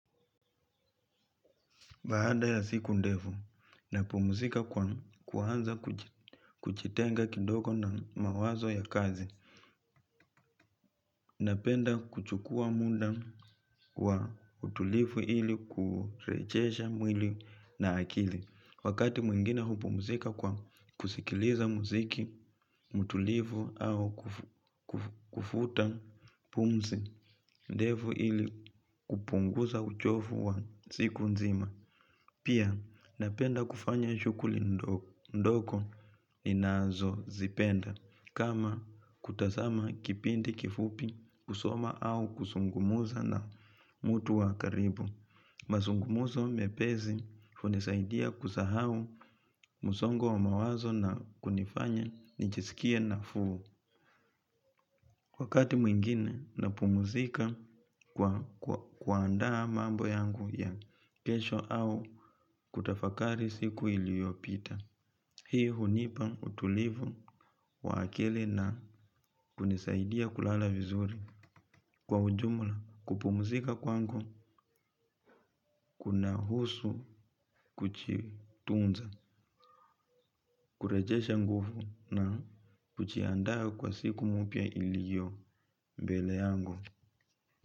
Baada ya siku ndefu, napumuzika kwanza kujitenga kidogo na mawazo ya kazi. Napenda kuchukua muda wa utulifu ili kurejesha mwili na akili. Wakati mwingine hupumuzika kwa kusikiliza muziki, mtulifu au kufuta pumzi ndefu ili kupungusa uchofu wa siku nzima. Pia napenda kufanya shukuli ndoko ninazo zipenda kama kutasama kipindi kifupi kusoma au kusungumuza na mutu wa karibu. Mazungumuzo mepesi hunisaidia kusahau msongo wa mawazo na kunifanya nichisikie na fuu. Wakati mwingine na pumuzika kwa kuandaa mambo yangu ya kesho au kutafakari siku iliopita. Hii hunipa utulivu wa akili na kunisaidia kulala vizuri. Kwa ujumla kupumuzika kwangu kuna husu kuchitunza, kurejesha nguvu na kujiandaa kwa siku mupya iliyo mbele yangu.